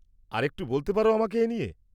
আরেকটু বলতে পার আমাকে এ নিয়ে?